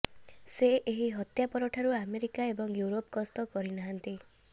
ସେ ଏହି ହତ୍ୟା ପରଠାରୁ ଆମେରିକା ଏବଂ ୟୁରୋପ୍ ଗସ୍ତ କରିନାହାନ୍ତି